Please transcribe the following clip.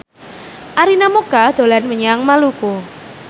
Arina Mocca dolan menyang Maluku